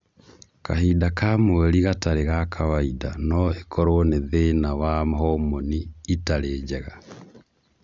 Kahinda ka mweri gatarĩ ga kàwaida no ĩkorwo nĩ thĩna wa homoni itarĩ njega